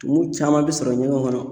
Tumu caman bi sɔrɔ ɲɛgɛnw kɔnɔ